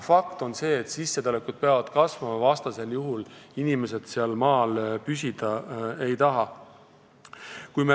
Fakt on see, et sissetulekud peavad kasvama, vastasel juhul inimesed maal püsida ei taha.